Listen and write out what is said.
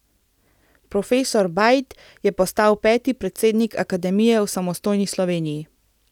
Profesor Bajd je postal peti predsednik akademije v samostojni Sloveniji.